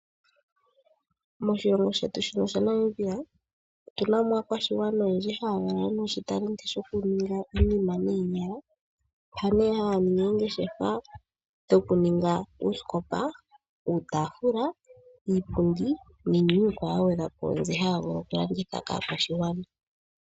Moshilongo shetu shino shaNamibia otu na mo aakwashigwana oyendji haya lala noshitalenti shokuninga iinima noonyala mpa haya ningi oongeshefa dhokuninga oosikopa, uutafula, iipundi niinima iikwawo ya gwedhwapo mbyono haya vulu okulanditha kaakwashigwana.